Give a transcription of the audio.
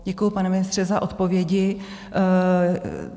Děkuji, pane ministře, za odpovědi.